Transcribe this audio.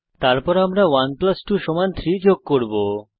তারপর আমরা 1 প্লাস 2 সমান 3 যোগ করব